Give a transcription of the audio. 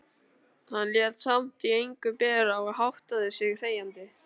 Hann lét samt á engu bera og háttaði sig þegjandi.